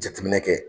Jateminɛ kɛ